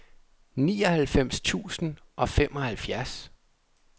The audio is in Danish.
nioghalvfems tusind og femoghalvfjerds